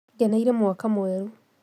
Ngeneire mwaka mweru